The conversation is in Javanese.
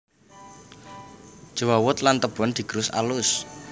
Jewawut lan tebon digerus alus